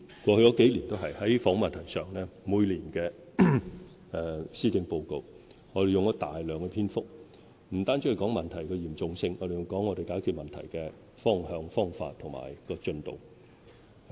過去數年，在房屋問題上，每年的施政報告用了大量篇幅，不單提到問題的嚴重性，還有解決問題的方向、方法及進度。